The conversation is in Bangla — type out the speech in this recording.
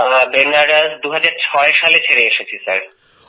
বেনারস 2006 সালে ছেড়ে এসেছি স্যার